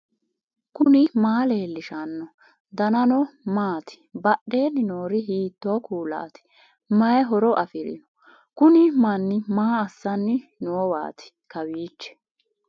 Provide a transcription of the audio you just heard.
knuni maa leellishanno ? danano maati ? badheenni noori hiitto kuulaati ? mayi horo afirino ? kuni manni maaa aassanni noowaati kawiichi